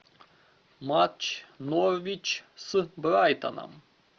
матч норвич с брайтоном